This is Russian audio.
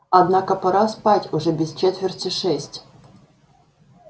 однако пора спать уже без четверти шесть